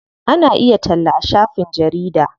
Ana iya talla a shafin jarida.